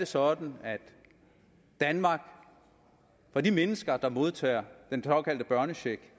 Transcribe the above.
sådan at danmark på de mennesker der modtager den såkaldte børnecheck